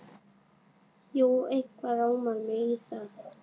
Jú, eitthvað rámar mig í það.